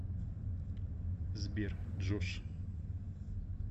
сбер джош